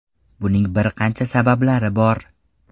Buning bir qancha sabablari bor.